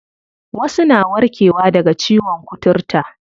Wasu na warke wa daga ciyon kuturta.